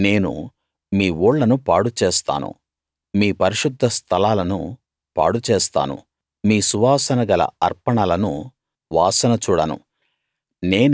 నేను మీ ఊళ్ళను పాడు చేస్తాను మీ పరిశుద్ధ స్థలాలను పాడుచేస్తాను మీ సువాసన గల అర్పణలును వాసన చూడను